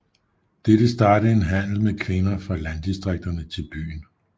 Dette startede en handel med kvinder fra landdistrikterne til byen